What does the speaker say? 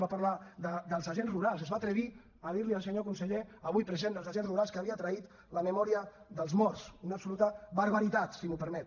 va parlar dels agents rurals es va atrevir a dir al senyor conseller avui present dels agents rurals que havia traït la memòria dels morts una absoluta barbaritat si m’ho permet